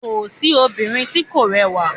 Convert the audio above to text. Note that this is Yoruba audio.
Kò sí obìnrin tí kò rẹwà